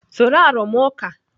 Soro arụmụka!